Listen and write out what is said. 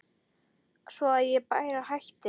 Svo að ég bara hætti.